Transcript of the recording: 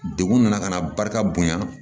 Degun nana ka na barika bonya